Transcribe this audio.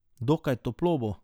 Dokaj toplo bo.